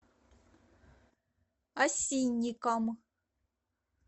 осинникам